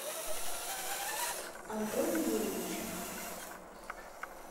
антону юрьевичу